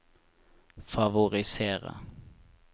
favorisere